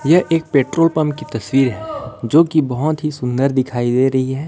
यह एक petrol pump की तस्वीर है जो की बहुत ही सुंदर दिखाई दे रही है।